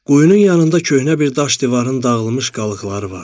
Quyunun yanında köhnə bir daş divarın dağılmış qalıqları vardı.